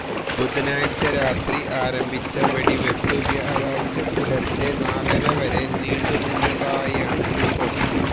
ബുധനാഴ്ച രാത്രി ആരംഭിച്ച വെടിവെപ്പ് വ്യാഴാഴ്ച പുലര്ച്ചെ നാലര വരെ നീണ്ടു നിന്നതായാണ് റിപ്പോര്ട്ട്